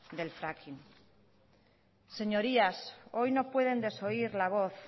del fracking señorías hoy no pueden desoír la voz